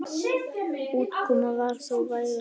Útkoman var þó vægast sagt ógnvekjandi.